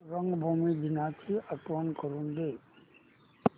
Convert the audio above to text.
रंगभूमी दिनाची आठवण करून दे